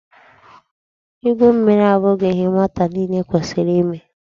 Igwu mmiri abụghị ihe nwata niile kwesịrị ime.